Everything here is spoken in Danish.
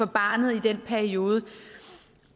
barnet i den periode